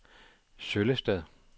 Søllested